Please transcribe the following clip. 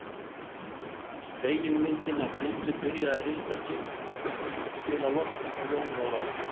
Spegilmyndin af Tildu byrjaði að hrista sig til að losna frá Jóni Ólafi.